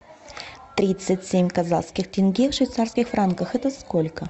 тридцать семь казахских тенге в швейцарских франках это сколько